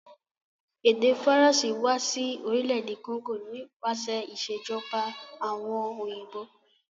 Èdè faracé wa si orílẹ̀dè Congo nípasẹ̀ ìsèjoba àwon òyìnbó